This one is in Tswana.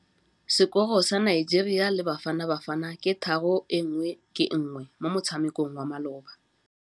Sekôrô sa Nigeria le Bafanabafana ke 3-1 mo motshamekong wa malôba.